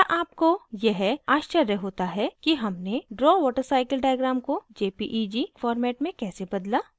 क्या आपको यह आश्चर्य होता है कि हमने draw watercycle diagram को jpeg format में कैसे बदला